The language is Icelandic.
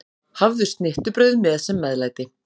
Hafðu snittubrauð með sem meðlæti.